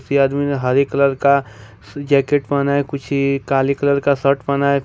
ये आदमी ने हरे कलर का जैकेट पहना है कुछ काले कलर का शर्ट पहना है।